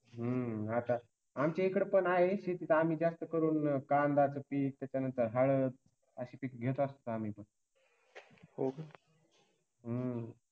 हम्म आता आमच्या इकड पण आहे शेती तर आणि जास्त करून कांद्याचे पीक त्याच्यानंतर हळद अशी पिके घेत असत आम्ही हम्म